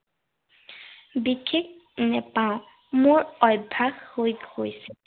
বিশেষ নেপাওঁ। মোৰ অভ্য়াস হৈ গৈছে।